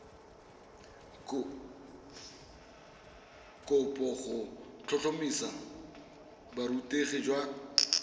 kopo go tlhotlhomisa borutegi jwa